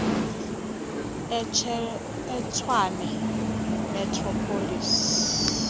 etshwane metro police